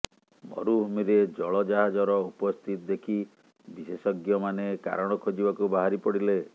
ମରୁଭୂମିରେ ଜଳ ଜାହାଜର ଉପସ୍ଥିତି ଦେଖି ବିଶେଷଜ୍ଞମାନେ କାରଣ ଖୋଜିବାକୁ ବାହାରିପଡିଲେ